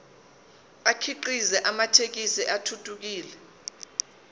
akhiqize amathekisthi athuthukile